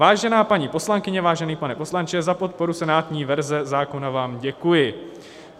Vážená paní poslankyně, vážený pane poslanče, za podporu senátní verze zákona vám děkuji.